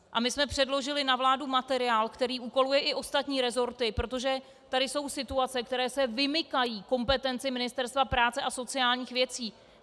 A my jsme předložili na vládu materiál, který úkoluje i ostatní resorty, protože tady jsou situace, které se vymykají kompetenci Ministerstva práce a sociálních věcí.